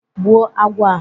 Gbụu agwọ a.